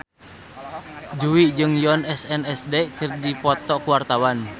Jui jeung Yoona SNSD keur dipoto ku wartawan